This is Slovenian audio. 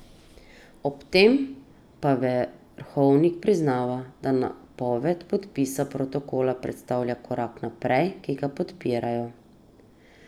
Ob tem pa Verhovnik priznava, da napoved podpisa protokola predstavlja korak naprej, ki ga podpirajo.